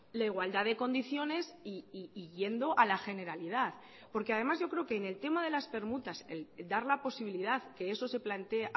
la igualdad de condiciones y yendo a la generalidad porque además yo creo que en el tema de las permutas dar la posibilidad que eso se plantee